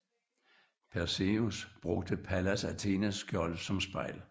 Perseus brugte Pallas Athenes skjold som spejl